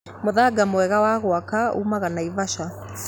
Mũthanga mwega wa gwaka uumaga Naivasha